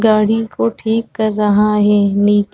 गाड़ी को ठीक कर रहा है नीचे --